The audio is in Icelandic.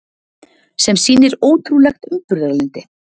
Sem sýnir ótrúlegt umburðarlyndi.